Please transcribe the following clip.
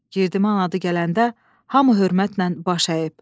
Girdiman adı gələndə hamı hörmətlə baş əyib.